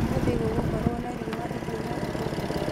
ũmũthĩ gũgũkorwo na riũa ihiũ na rũhuho?